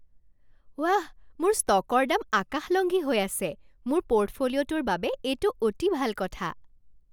ৱাহ, মোৰ ষ্টকৰ দাম আকাশলংঘী হৈ আছে! মোৰ পৰ্টফলিঅ'টোৰ বাবে এইটো অতি ভাল কথা।